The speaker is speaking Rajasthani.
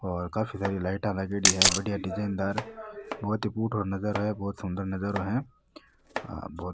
और काफी सारी लाइटा लागेड़ी है बढ़िया डिजाइन दार बहुत ही फूटरो नज़ारो है बहुत सुन्दर नजारों है और --